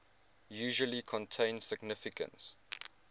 usually contain significant